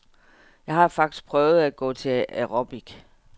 Jeg har faktisk prøvet at gå til aerobic.